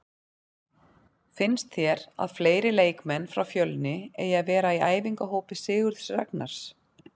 Finnst þér að fleiri leikmenn frá Fjölni eigi að vera í æfingahópi Sigurðs Ragnars?